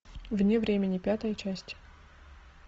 вне времени пятая часть